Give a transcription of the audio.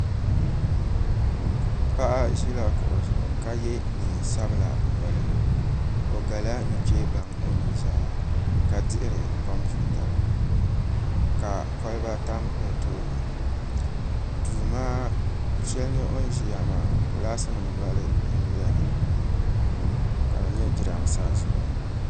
Paɣa ʒila kuɣu zuɣu ka yɛ neen sabila noli o gala nuchɛ baŋ o nuzaa ka dihiri kompiuta ka kolba tam o tooni du shɛli ni o ni ʒiya maa gilaas nim noli n nyɛli ka di nyɛ jiranbiisa zuɣu